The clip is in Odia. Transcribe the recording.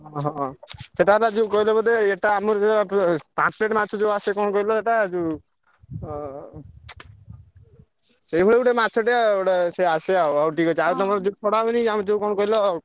ହଁ ସେଟା ବା ଯୋଉ କହିଲ ବୋଧେ ଏଟା ଆମର ଯୋଉ ଉ ପାମ୍ପଲେଟ ମାଛ ଯୋଉ ଆସେ କଣ କହିଲ ସେଟା ଉଁ ଅଁ ସେଇଭଳି ଗୋଟେ ମାଛଟେ ଗୋଟେ ସେ ଆସେ ଆଉ ହଉ ଠିକ୍ ଅଛି ଆଉ ତମର ଯୋଉ ଛଡା ହୁଏନି ଆଉ ଯୋଉ କଣ କହିଲ